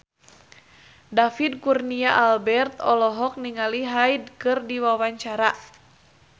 David Kurnia Albert olohok ningali Hyde keur diwawancara